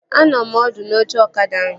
Anọ m ọdụ n'oche ọkada ahụ